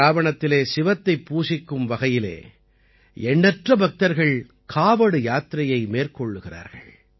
சிராவணத்திலே சிவத்தைப் பூசிக்கும் வகையிலே எண்ணற்ற பக்தர்கள் காவட் யாத்திரையை மேற்கொள்கிறார்கள்